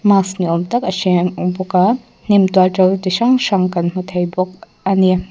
mask ni awm tak a hreng bawk a hnim tual to chi hrang hrang kan hmu thei bawk a ni.